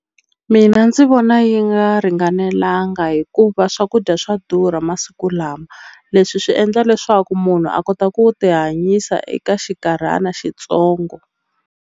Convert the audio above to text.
Mina ndzi vona yi nga ringanelanga hikuva swakudya swa durha masiku lama leswi swi endla leswaku munhu a kota ku ti hanyisa eka xinkarhana xitsongo.